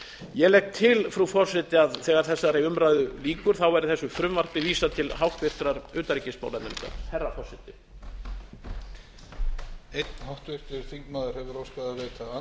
ég legg til herra forseti að þegar þessari umræðu lýkur verði þessu frumvarpi vísað til annarrar umræðu og háttvirtrar utanríkismálanefndar